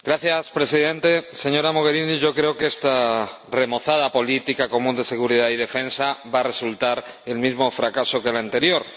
Señor Presidente, señora Mogherini, yo creo que esta remozada política común de seguridad y defensa va a resultar el mismo fracaso que la anterior.